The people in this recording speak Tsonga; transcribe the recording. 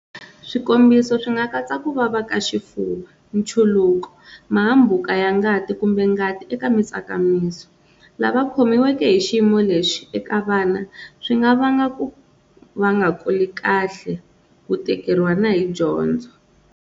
Swikombiso swi nga katsa ku vava ka xifuva, nchuluko, mahambuka ya ngati, kumbe ngati eka mitsakamiso. Lava khomiweke hixiyimo Eka vana, swi nga va nga ku va nga kuli kahle ku tikeriwa na hi dyondzo.